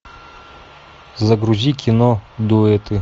загрузи кино дуэты